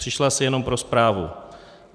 Přišla si jenom pro zprávu.